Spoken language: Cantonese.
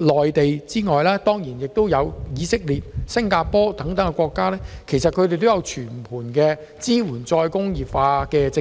外，便要數以色列及新加坡等國家，他們均有訂定全盤支援再工業化的政策。